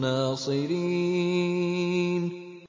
نَّاصِرِينَ